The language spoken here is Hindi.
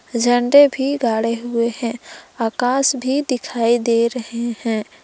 झंडे भी गाढ़े हुए हैं आकाश भी दिखाई दे रहे हैं।